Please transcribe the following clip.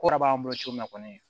Kɔrɔ b'an bolo cogo min na kɔni